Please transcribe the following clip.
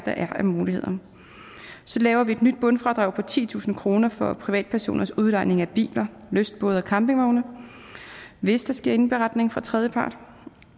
af muligheder så laver vi et nyt bundfradrag på titusind kroner for privatpersoners udlejning af biler lystbåde og campingvogne hvis der sker indberetning fra tredjepart